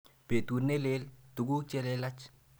Petut ne lel, tuguk che lelach.